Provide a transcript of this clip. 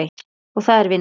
Og það er vinnan.